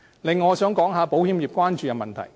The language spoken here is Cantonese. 此外，我想說說保險業所關注的問題。